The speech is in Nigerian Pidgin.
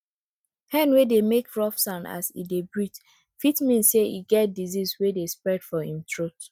hen wey dey make rough sound as e dey breathe fit mean say e get disease wey dey spread for im throat